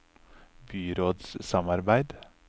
byrådssamarbeid